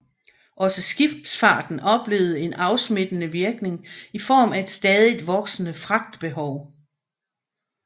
Også skibsfarten oplevede en afsmittende virkning i form af stadigt voksende fragtbehov